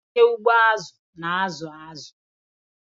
Onye ugbo azu na-azụ azụ.